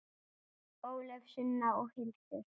Ólöf, Sunna og Hildur.